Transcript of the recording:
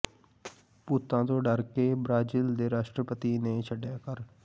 ਭੂਤਾਂ ਤੋਂ ਡਰ ਕੇ ਬ੍ਰਾਜ਼ੀਲ ਦੇ ਰਾਸ਼ਟਰਪਤੀ ਨੇ ਛੱਡਿਆ ਘਰ